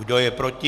Kdo je proti?